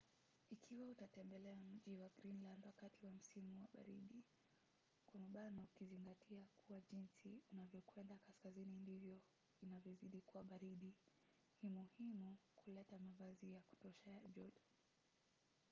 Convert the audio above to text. ikiwa utatembelea mji wa greenland wakati wa msimu wa baridi ukizingatia kuwa jinsi unavyokwenda kaskazini ndivyo inavyozidi kuwa baridi ni muhimu kuleta mavazi ya kutosha ya joto